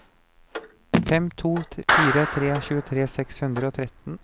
fem to fire tre tjuetre seks hundre og tretten